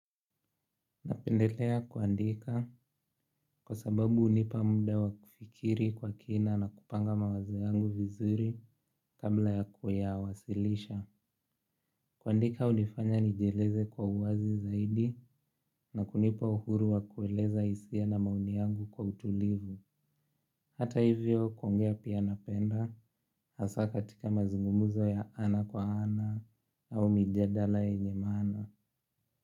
Napendelea kuandika kwa sababu unipa muda wa kufikiri kwa kina na kupanga mawazo yangu vizuri kabla ya kuwasilisha. Kuandika unifanya nijieleze kwa uwazi zaidi na kunipa uhuru wa kueleza hisia na maoni yangu kwa utulivu. Hata hivyo kuongea pia napenda hasa katika mazungumzo ya ana kwa ana au mijadala yenye maana.